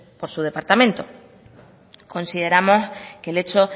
por su departamento consideramos que el hecho